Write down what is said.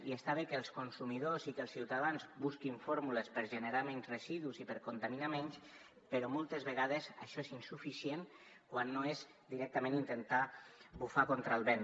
i està bé que els consumidors i que els ciutadans busquin fórmules per generar menys residus i per contaminar menys però moltes vegades això és insuficient quan no és directament intentar bufar contra el vent